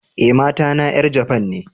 Eh, mata na yar Japan ne.